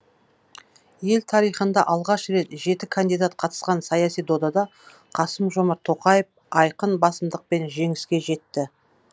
ел тарихында алғаш рет жеті кандидат қатысқан саяси додада қасым жомарт тоқаев айқын басымдықпен жеңіске жетті